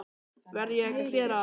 Verð ég ekki að gera það?